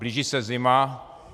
Blíží se zima.